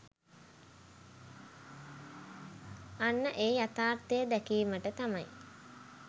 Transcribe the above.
අන්න ඒ යථාර්ථය දැකීමට තමයි